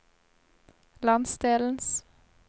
landsdelens